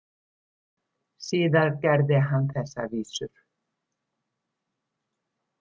Síðar gerði hann þessar vísur: